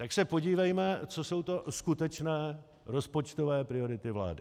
Tak se podívejme, co jsou to skutečné rozpočtové priority vlády.